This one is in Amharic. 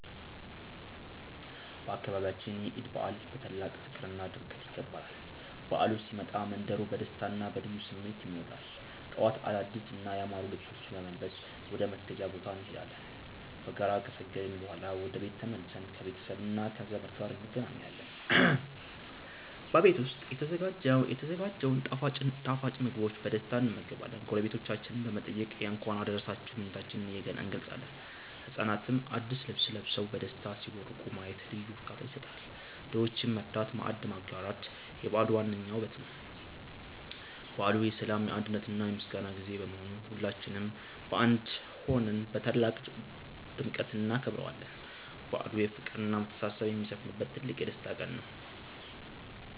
በአካባቢያችን የዒድ በዓል በታላቅ ፍቅርና ድምቀት ይከበራል። በዓሉ ሲመጣ መንደሩ በደስታና በልዩ ስሜት ይሞላል። ጠዋት አዳዲስና ያማሩ ልብሶችን በመልበስ ወደ መስገጃ ቦታ እንሄዳለን። በጋራ ከሰገድን በኋላ ወደ ቤት ተመልሰን ከቤተሰብና ከዘመድ ጋር እንገናኛለን። በቤት ዉስጥ የተዘጋጀውን ጣፋጭ ምግቦችን በደስታ እንመገባለን። ጎረቤቶቻችንን በመጠየቅ የእንኳን አደረሳችሁ ምኞታችንን እንገልጻለን። ህጻናትም አዲስ ልብስ ለብሰው በደስታ ሲቦርቁ ማየት ልዩ እርካታ ይሰጣል። ድሆችን መርዳትና ማዕድ ማጋራት የበዓሉ ዋነኛው ውበት ነው። በዓሉ የሰላም፣ የአንድነትና የምስጋና ጊዜ በመሆኑ ሁላችንም በአንድ ሆነን በታላቅ ድምቀት እናከብረዋለን። በዓሉ ፍቅርና መተሳሰብ የሚሰፍንበት ትልቅ የደስታ ቀን ነው።